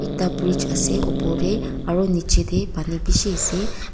ekta bridge ase opor deh aru niche teh pani bishi ase.